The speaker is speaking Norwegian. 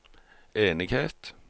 enighet